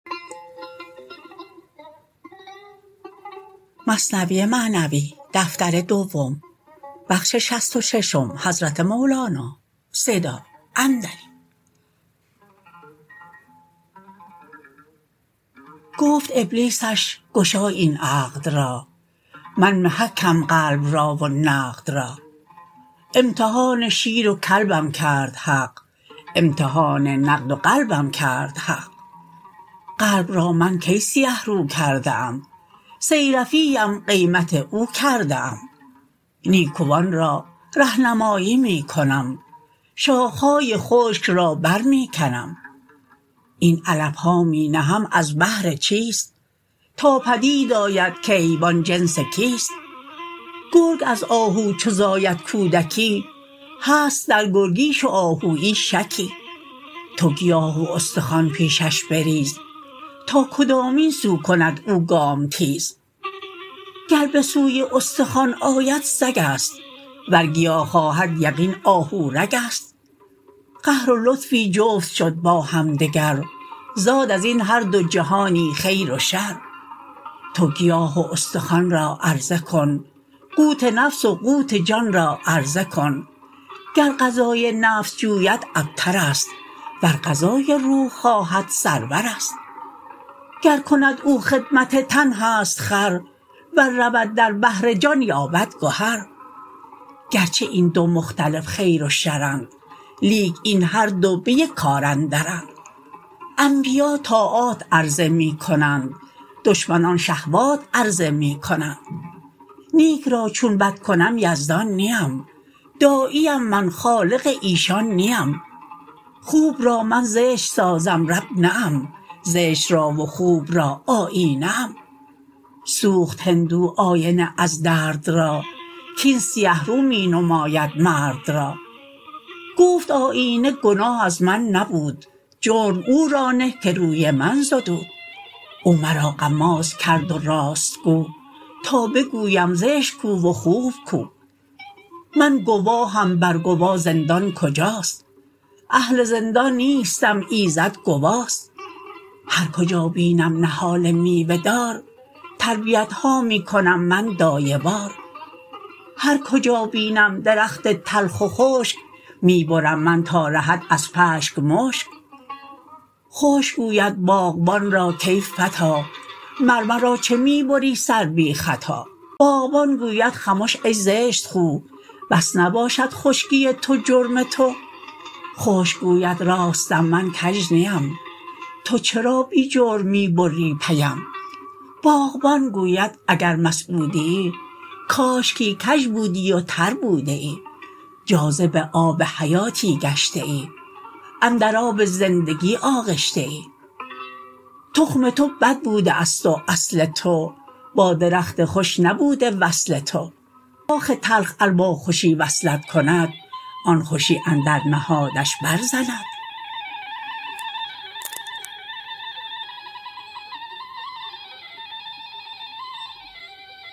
گفت ابلیسش گشای این عقد را من محکم قلب را و نقد را امتحان شیر و کلبم کرد حق امتحان نقد و قلبم کرد حق قلب را من کی سیه رو کرده ام صیرفی ام قیمت او کرده ام نیکوان را رهنمایی می کنم شاخه های خشک را بر می کنم این علفها می نهم از بهر چیست تا پدید آید که حیوان جنس کیست گرگ از آهو چو زاید کودکی هست در گرگیش و آهویی شکی تو گیاه و استخوان پیشش بریز تا کدامین سو کند او گام تیز گر به سوی استخوان آید سگست ور گیا خواهد یقین آهو رگست قهر و لطفی جفت شد با همدگر زاد ازین هر دو جهانی خیر و شر تو گیاه و استخوان را عرضه کن قوت نفس و قوت جان را عرضه کن گر غذای نفس جوید ابترست ور غذای روح خواهد سرورست گر کند او خدمت تن هست خر ور رود در بحر جان یابد گهر گرچه این دو مختلف خیر و شرند لیک این هر دو به یک کار اندرند انبیا طاعات عرضه می کنند دشمنان شهوات عرضه می کنند نیک را چون بد کنم یزدان نیم داعیم من خالق ایشان نیم خوب را من زشت سازم رب نه ام زشت را و خوب را آیینه ام سوخت هندو آینه از درد را کین سیه رو می نماید مرد را گفت آیینه گناه از من نبود جرم او را نه که روی من زدود او مرا غماز کرد و راست گو تا بگویم زشت کو و خوب کو من گواهم بر گوا زندان کجاست اهل زندان نیستم ایزد گواست هر کجا بینم نهال میوه دار تربیتها می کنم من دایه وار هر کجا بینم درخت تلخ و خشک می برم من تا رهد از پشک مشک خشک گوید باغبان را کای فتی مر مرا چه می بری سر بی خطا باغبان گوید خمش ای زشت خو بس نباشد خشکی تو جرم تو خشک گوید راستم من کژ نیم تو چرا بی جرم می بری پیم باغبان گوید اگر مسعودیی کاشکی کژ بودیی تر بودیی جاذب آب حیاتی گشتیی اندر آب زندگی آغشتیی تخم تو بد بوده است و اصل تو با درخت خوش نبوده وصل تو شاخ تلخ ار با خوشی وصلت کند آن خوشی اندر نهادش بر زند